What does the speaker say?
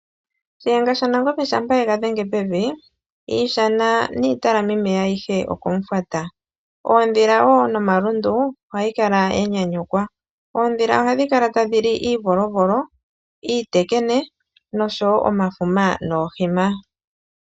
Shiyenga shaNangombe shampa ye ga dhenge pevi, iishana niitalamimeya ayihe okomufwata. Oondhila wo nomalundu ohayi kala ya nyanyukwa. Oondhila ohadhi kala tadhi li iivolovolo, iitekene, nosho wo omafuma noohima.